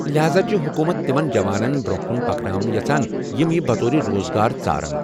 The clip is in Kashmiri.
لہذا چھےٚ حکومت تِمن جوانن برونہہ كٗن پكناوٕنہِ یژھان یِم یہِ بطور روزگار ژارن ۔